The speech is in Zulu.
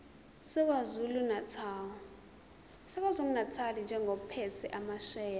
sakwazulunatali njengophethe amasheya